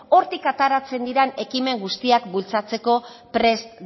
hortik ateratzen diren ekimen guztiak bultzatzeko prest